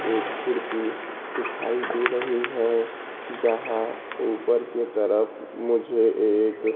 एक खिड़की दिखाई दे रही है जहां ऊपर के तरफ मुझे एक--